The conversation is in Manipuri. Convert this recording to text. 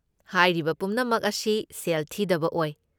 ꯍꯥꯏꯔꯤꯕ ꯄꯨꯝꯅꯃꯛ ꯑꯁꯤ ꯁꯦꯜ ꯊꯤꯗꯕ ꯑꯣꯏ꯫